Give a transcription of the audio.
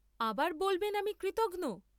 আবার বলবেন আমি কৃতঘ্ন!